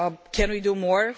Can we do more?